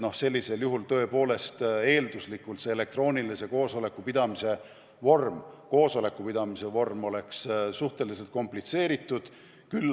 Sellisel juhul tõepoolest on elektroonilise koosoleku pidamine suhteliselt komplitseeritud.